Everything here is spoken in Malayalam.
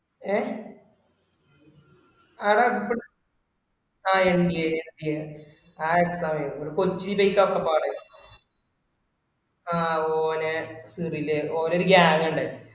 ഏഹ് ആട ഇപ്പ ആ mgmg ആ exam എയ്തയെ മ്മളെ കൊച്ചീലൊക്കെപ്പാട്ല്ലേ ആ ഓലെ സിറിലെ ഓല ഒരു gang indayrnnu